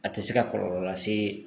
A te se ka kɔlɔlɔ lase